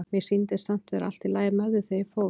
Mér sýndist samt vera allt í lagi með þig þegar ég fór.